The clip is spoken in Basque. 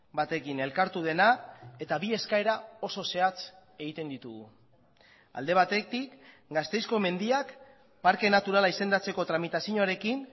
batekin elkartu dena eta bi eskaera oso zehatz egiten ditugu alde batetik gasteizko mendiak parke naturala izendatzeko tramitazioarekin